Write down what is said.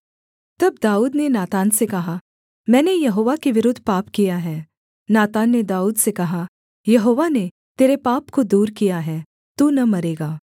तब दाऊद ने नातान से कहा मैंने यहोवा के विरुद्ध पाप किया है नातान ने दाऊद से कहा यहोवा ने तेरे पाप को दूर किया है तू न मरेगा